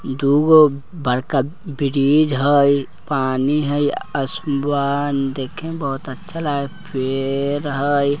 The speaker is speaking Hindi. दुगो बरका ब्रीज है पानी है आसमान देखे में बहुत अच्छा लगा है पेड़ है।